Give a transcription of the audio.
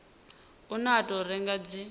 une wa tou rengiwa dzi